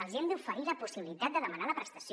els hi hem d’oferir la possibilitat de demanar la prestació